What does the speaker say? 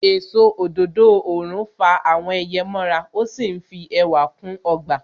Èso òdòdó òrùn fa àwọn ẹyẹ mọ ra. Ó sì fi ẹwà kún ọgbà.